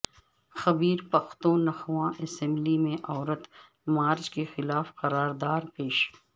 خیبر Pakhtunkhwa assembly میں عورت march کے خلاف قراردار پیش